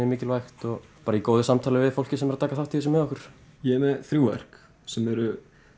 er mikilvægt bara í góðu samtali við fólkið sem er að taka þátt í þessu með okkur ég er með þrjú verk sem eru